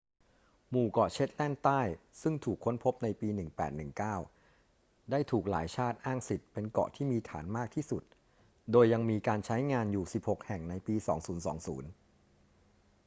หมู่เกาะเชตแลนด์ใต้ซึ่งถูกค้นพบในปี 1819ได้ถูกหลายชาติอ้างสิทธิ์ เป็นเกาะที่มีฐานมากที่สุด โดยยังมีการใช้งานอยู่ 16 แห่งในปี 2020